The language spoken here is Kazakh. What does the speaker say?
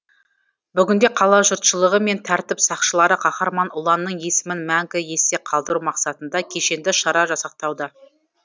бүгінде қала жұртшылығы мен тәртіп сақшылары қаһарман ұланның есімін мәңгі есте қалдыру мақсатында кешенді шара жасақтауда